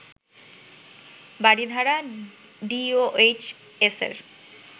Baridhara ডিওএইচএসের